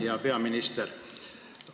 Hea peaminister!